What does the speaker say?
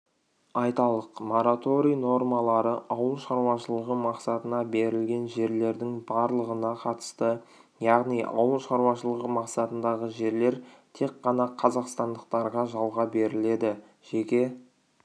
айталық мораторий нормалары ауыл шаруашылығы мақсатына берілген жерлердің барлығына қатысты яғни ауыл шаруашылығы мақсатындағы жерлер тек қана қазақстандықтарға жалға беріледі жеке